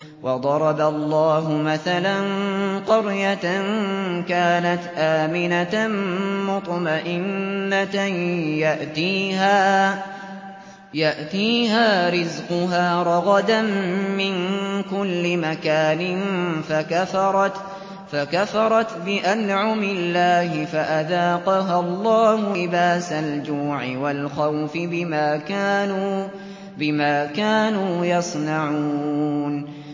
وَضَرَبَ اللَّهُ مَثَلًا قَرْيَةً كَانَتْ آمِنَةً مُّطْمَئِنَّةً يَأْتِيهَا رِزْقُهَا رَغَدًا مِّن كُلِّ مَكَانٍ فَكَفَرَتْ بِأَنْعُمِ اللَّهِ فَأَذَاقَهَا اللَّهُ لِبَاسَ الْجُوعِ وَالْخَوْفِ بِمَا كَانُوا يَصْنَعُونَ